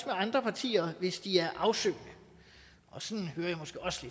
andre partier hvis de er afsøgende og sådan hører